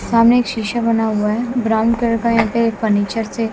सामने एक शीशा बना हुआ है ब्राउन कलर का यहां पे फर्नीचर से--